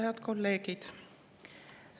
Head kolleegid!